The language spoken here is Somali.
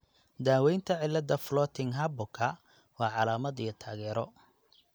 Daaweynta cillada Floating Harborka waa calaamad iyo taageero.